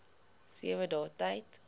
sewe dae tyd